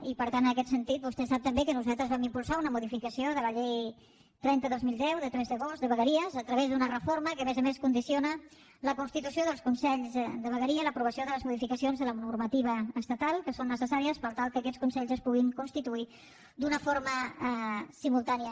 i per tant en aquest sentit vostè sap també que nosaltres vam impulsar una modificació de la llei trenta dos mil deu de tres d’agost de vegueries a través d’una reforma que a més a més condiciona la constitució dels consells de vegueria i l’aprovació de les modificacions de la normativa estatal que són necessàries per tal que aquests consells es puguin constituir d’una forma simultània